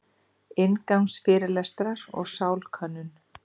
Inngangsfyrirlestrar um sálkönnun.